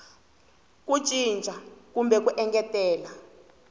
ku cinca kumbe ku engetela